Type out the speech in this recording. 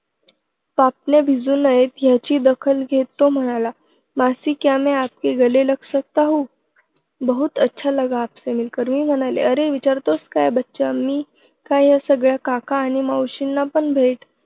पापण्या भिजू नयेत, ह्याची दखल घेत तो म्हणाला मासी, क्या मैं आपके गले लग सकता हूँ? बहुत अच्छा लगा आपसे मिलकर. मी म्हणाले, अरे विचारतोस काय बच्चा? मीच काय ह्या सगळ्या काका आणि मावशींनापण भेट